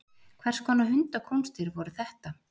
Hvers konar hundakúnstir voru þetta?